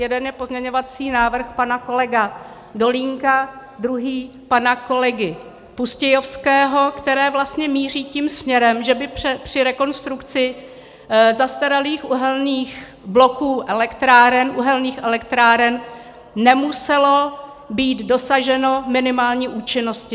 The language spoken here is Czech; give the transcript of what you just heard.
Jeden je pozměňovací návrh pana kolegy Dolínka, druhý pana kolegy Pustějovského, které vlastně míří tím směrem, že by při rekonstrukci zastaralých uhelných bloků elektráren, uhelných elektráren, nemuselo být dosaženo minimální účinnosti.